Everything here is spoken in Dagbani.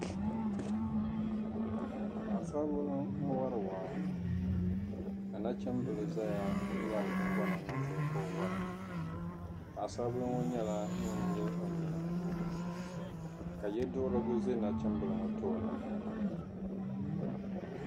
Paɣasaribili n-wari waa ka nachimbili zaya ŋmɛri guŋgona niŋdi o ka o wara paɣasaribili ŋɔ nyɛla ŋun nyili o nyina ka ye'duɣirigu ʒe nachimbili ŋɔ tooni.